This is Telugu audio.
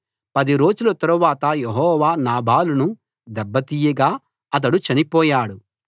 పది రోజుల తరువాత యెహోవా నాబాలును దెబ్బ తీయగా అతడు చనిపోయాడు